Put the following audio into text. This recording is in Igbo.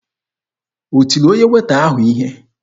O tiri onye Weeta ahụ ihe?